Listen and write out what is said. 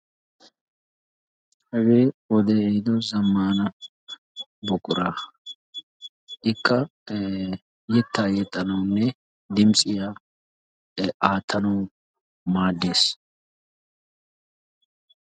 Hagee wode ehido zammana buqura. Ikka yeta yexanawune dimtsiya aattanawu maadees.